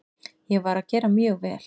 Ég var að gera mjög vel.